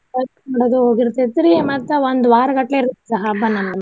ಸ್ವಚ್ಛ ಮಾಡೋದ್ರಾಗ ಹೋಗಿರ್ತೆತ್ರಿ ಮತ್ತ ಒಂದ ವಾರಗಟ್ಲೆ ಇರುತ್ತ ಅದ ಹಬ್ಬ ನಮ್ಮಗ.